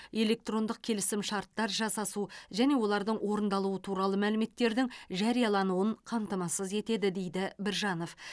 электрондық келісім шарттар жасасу және олардың орындалуы туралы мәліметтердің жариялануын қамтамасыз етеді дейді біржанов